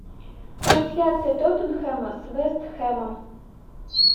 трансляция тоттенхэма с вест хэмом